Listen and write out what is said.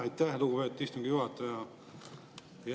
Aitäh, lugupeetud istungi juhataja!